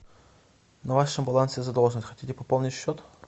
на вашем балансе задолженность хотите пополнить счет